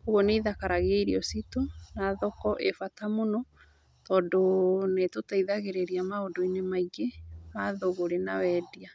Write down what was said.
Kũguo nĩ ithakaragia irio ciitũ na thoko ĩĩ bata mũno, tondũ nĩ ĩtũteithagĩrĩria maũndũ-inĩ maingĩ ma thũgũrĩ na wendia.